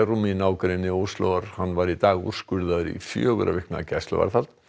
bærum í nágrenni Óslóar hann var í dag úrskurðaður í fjögurra vikna gæsluvarðhald